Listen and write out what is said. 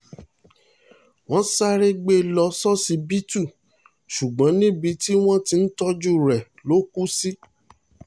wọ́n sáré gbé e lọ ṣíṣíbítì ṣùgbọ́n níbi tí wọ́n ti ń tọ́jú rẹ̀ ló kù sí